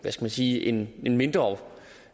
sige en mindre